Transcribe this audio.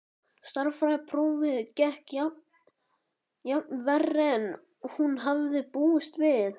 Stærðfræðiprófið gekk jafnvel verr en hann hafði búist við.